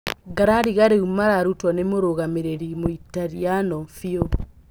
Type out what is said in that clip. Ngarariga rĩu mararutwo nĩ mũrũgamĩriri mũitariano Biu.